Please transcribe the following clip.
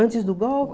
Antes do